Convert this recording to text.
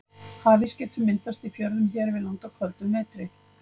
Hafís getur myndast í fjörðum hér við land á köldum vetri.